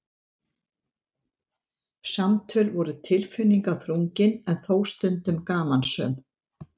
Samtöl voru tilfinningaþrungin en þó stundum gamansöm.